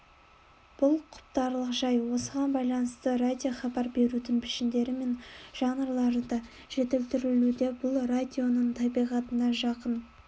бұл құптарлық жай осыған байланысты радиохабар берудің пішіндері мен жанрлары да жетілдірілуде бұл радионың табиғатына жақын